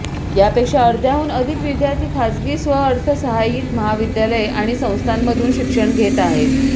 यापेक्षा अर्ध्याहून अधिक विद्यार्थी खासगी स्वअर्थसहाय्यीत महाविद्यालये आणि संस्थांमधून शिक्षण घेत आहेत